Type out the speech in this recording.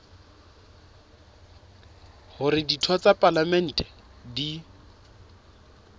hore ditho tsa palamente di